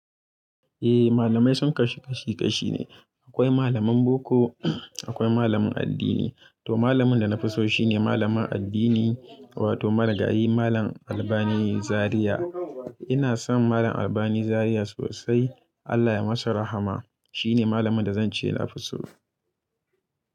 Eh malamai sun kashi kashi kashi ne. Akwai malaman boko, akwai malaman addini. To malamin da na fi so shine malamin addini wato marigayi malam Albani Zariya. Ina son malam Albani Zariya sosai. Allah ya masa rahama. Shi ne malamin da zan ce na fi so.